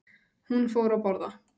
Hún fór að borða.